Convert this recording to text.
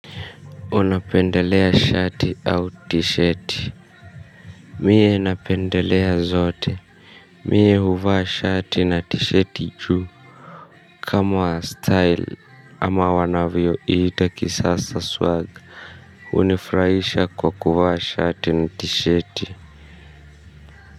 Unapendelea shati au tisheti? Mie napendelea zote Mie. Huvaa shati na tisheti juu. Kama wa style ama wanavyoiita kisasa swag hunifurahisha kwa kuvaa shati na tisheti.